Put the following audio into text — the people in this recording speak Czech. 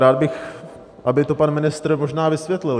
Rád bych, aby to pan ministr možná vysvětlil.